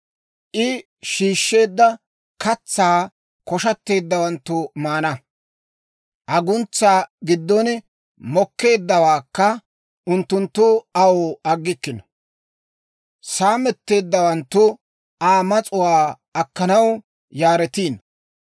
I shiishsheedda katsaa koshshatteeddawanttu maana; aguntsaa giddon mokkeeddawaakka unttunttu aw aggikkino. Saametteeddawanttu Aa mas'uwaa akkanaw yaaretiino.